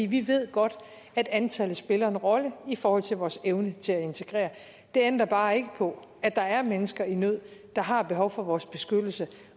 vi ved godt at antallet spiller en rolle i forhold til vores evne til at integrere det ændrer bare ikke på at der er mennesker i nød der har behov for vores beskyttelse